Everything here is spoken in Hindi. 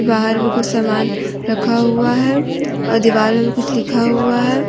बाहर भी कुछ समान रखा हुआ है और दीवार पे भी कुछ लिखा हुआ है।